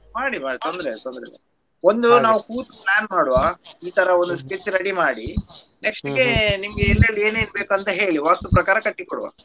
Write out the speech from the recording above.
ಮಾಡಿ ಮಾಡಿ ತೊಂದ್ರೆ ಇಲ್ಲ ಒಂದು ನಾವು ಕೂತು plan ಮಾಡುವ ಇತರ ಒಂದು sketch ready ಮಾಡಿ next ಗೆ ನಿಮ್ಗೆ ಎಲ್ಲೆಲಿ ಎನ್ನೆನು ಬೇಕಂತ ಹೇಳಿ ವಾಸ್ತುಪ್ರಕಾರ ಕಟ್ಟಿ ಕೊಡುವ.